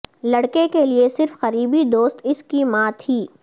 لڑکے کے لئے صرف قریبی دوست اس کی ماں تھی